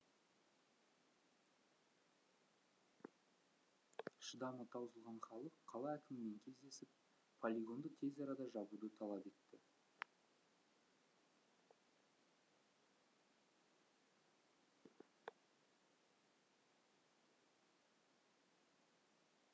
шыдамы таусылған халық қала әкімімен кездесіп полигонды тез арада жабуды талап етті